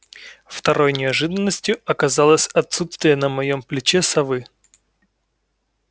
второй неожиданностью оказалось отсутствие на моём плече совы